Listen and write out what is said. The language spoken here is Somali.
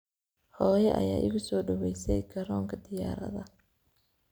Hoyo aya ikusodowese koronka diyaradha.